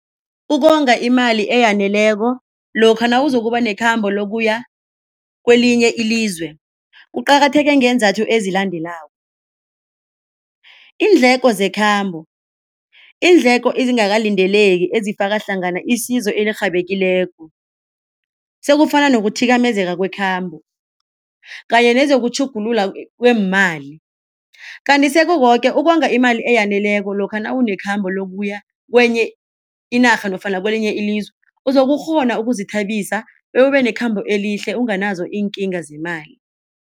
Ukonga imali eyaneleko lokha nawuzokuba nekhamba lokuya kwelinye ilizwe kuqakatheke ngeenzathu ezilandelako, iindleko zekhabo, iindleko ezingakalindeleki ezifaka hlangana isizo elirhabekileko, sekufana nokuthimezeka kwekhambo kanye nezokutjhugululwa kweemali. Kanti sekukoke ukonga imali eyaneleko lokha nawunekhambo lokuya kwenye inarha nofana kwelinye ilizwe uzokukghona ukuzithabisa bewubenekhamba elihle unganazo iinkinga zemali.